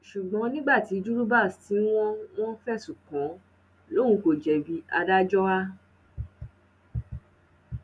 ṣùgbọn nígbà tí juribas tí wọn wọn fẹsùn kàn lòun kò jẹbi adájọ a